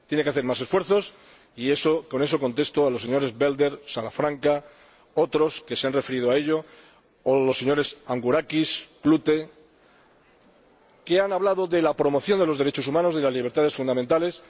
Tiene que hacer más esfuerzos y con eso contesto a los señores Belder y Salafranca, a otros que se han referido a ello y a los señores Angourakis y Klute, que han hablado de la promoción de los derechos humanos y de las libertades fundamentales.